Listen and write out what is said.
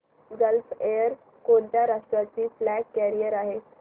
gulf Air कोणत्या राष्ट्राची flag carrier आहे